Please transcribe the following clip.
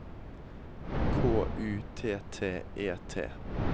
K U T T E T